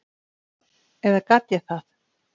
Eða gat ég það?